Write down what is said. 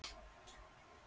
Ég sat eftir og var hugsi.